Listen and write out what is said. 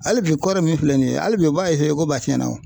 Hali bi kɔri min filɛ nin ye hali bi u b'a ko b'a tiɲɛna.